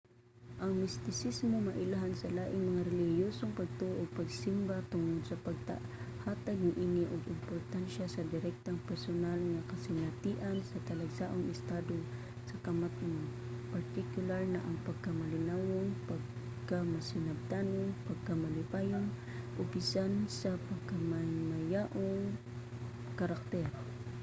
ang mistisismo mailhan sa laing mga relihiyosong pagtuo ug pagsimba tungod sa paghatag niini og importansiya sa direktang personal nga kasinatian sa talagsaong estado sa kamatngon partikular na ang pagkamalinawon pagkamasinabtanon pagkamalipayon o bisan sa pagkamahimayaong karakter